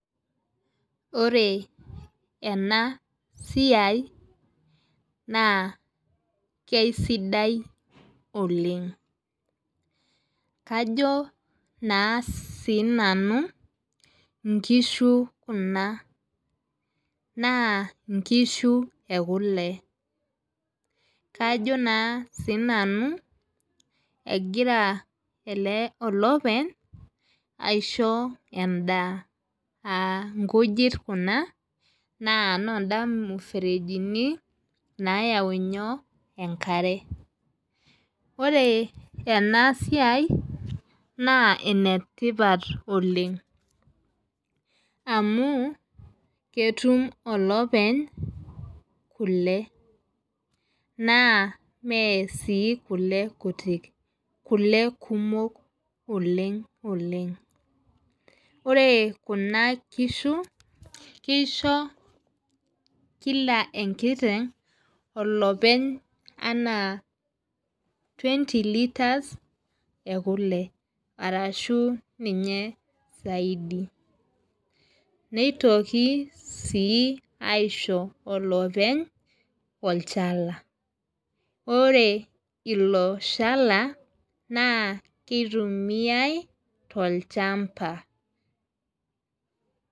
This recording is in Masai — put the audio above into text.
Ore enaa siai naa keisidai oleng. Kajo naa sii nanu nkishu kuna. Naa inkishu ekule. Kajo naa sii nanu egira elopeny ashoi edaa. Aa inkujit kuna naa nooda imuferejini nayau inyoo? Enkare. Ore ena siai naa enetipat oleng', amu ketum olepeny kule naa mee aii kule kutik, kule kumok oleng' oleng'. Ore kuna kishu kisho kila enkiteng' olepeny enaa twenty litres ee kule arashu ninye saidi. Nitoki sii aisho olopeny olchala. Ore ilo shala naa kitumiai too lchamba.